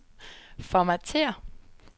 formatér